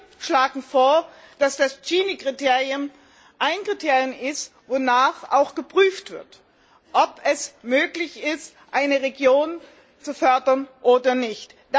Wir schlagen vor, dass das Kriterium ein Kriterium ist, wonach auch geprüft wird, ob es möglich ist, eine Region zu fördern oder nicht.